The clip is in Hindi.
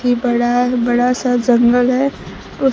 कि बड़ा बड़ा सा जंगल है उस--